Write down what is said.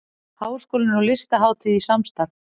Háskólinn og Listahátíð í samstarf